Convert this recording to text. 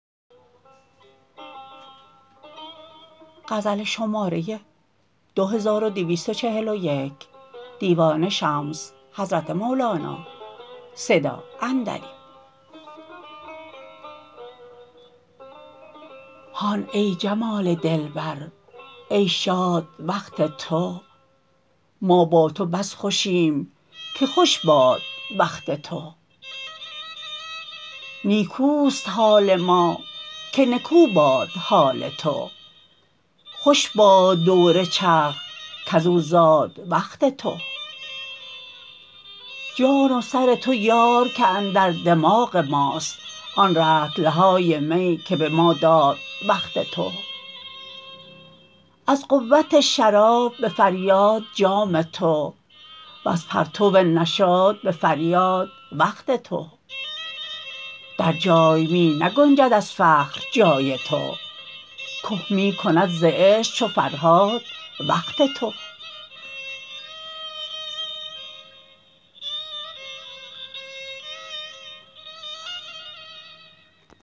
هان ای جمال دلبر ای شاد وقت تو ما با تو بس خوشیم که خوش باد وقت تو نیکوست حال ما که نکو باد حال تو خوش باد دور چرخ کز او زاد وقت تو جان و سر تو یار که اندر دماغ ماست آن رطل های می که به ما داد وقت تو از قوت شراب به فریاد جام تو وز پرتو نشاط به فریاد وقت تو در جای می نگنجد از فخر جای تو که می کند ز عشق و فرهاد وقت تو